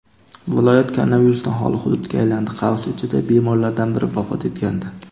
viloyat koronavirusdan xoli hududga aylandi (bemorlardan biri vafot etgandi).